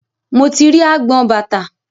Mo ti rí agbọn bàtà.